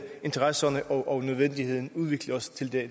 interesserne og nødvendigheden udvikle os til det